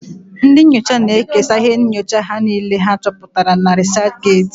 Ndị nyocha na-ekesa íhé nyocha ha na íhé ha chọputara na rịsachget.